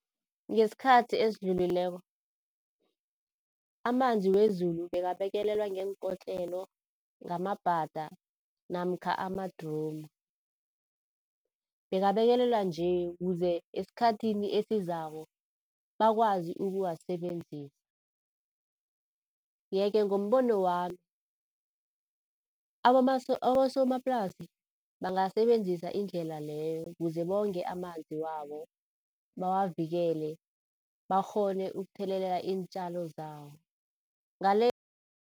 Ngesikhathi esidlulileko, amanzi wezulu bekabekelelwa ngeenkotlelo, ngamabhada namkha amadromu. Bekabekelelwa nje ukuze esikhathini esizako bakwazi ukuwasebenzisa. Yeke ngombono wami abosomaplasi bangasebenzisa indlela leyo kuze bonge amanzi wabo, bawavikele, bakghone ukuthelelela iintjalo zabo, ngale